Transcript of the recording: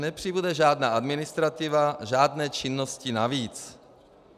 Nepřibude žádná administrativa, žádné činnosti navíc.